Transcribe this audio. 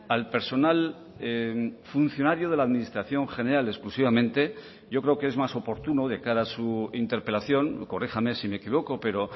al personal funcionario de la administración general exclusivamente yo creo que es más oportuno de cara a su interpelación corríjame si me equivoco pero